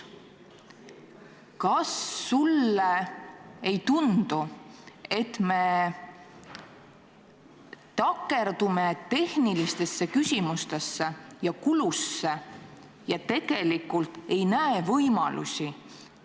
Kas sulle ei tundu, et me takerdume tehnilistesse küsimustesse ja kuludesse ning tegelikult ei näe võimalusi?